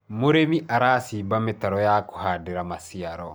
mũrĩmi aracimba mitaro ya kuhandira maciaro